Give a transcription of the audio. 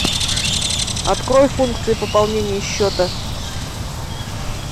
открой функции пополнения счета